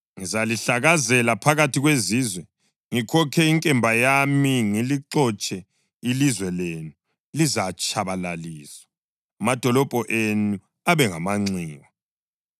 Ngizalihlakazela phakathi kwezizwe, ngikhokhe inkemba yami, ngilixotshe. Ilizwe lenu lizatshabalaliswa, amadolobho enu abe ngamanxiwa.